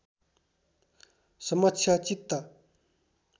समक्ष चित्त